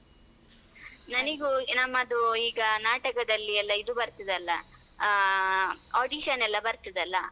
ನನಿಗು ನಮ್ಮದು ಈಗ ನಾಟಕದಲ್ಲಿ ಎಲ್ಲ ಇದು ಬರ್ತದೆಲ್ಲಾ ಆಹ್ audition ಎಲ್ಲಾ ಬರ್ತದೆಲ್ಲಾ.